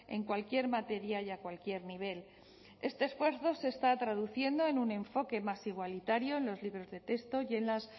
en cualquier materia y a cualquier nivel este esfuerzo se está traduciendo en un enfoque más igualitario en los libros de texto y en las